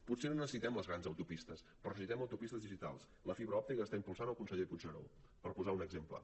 potser no necessitem les grans autopistes però necessitem autopistes digitals la fibra òptica que està impulsant el conseller puigneró per posar un exemple